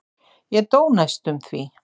Ég dó næstum því.